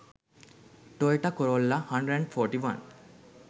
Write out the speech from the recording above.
toyota corolla 141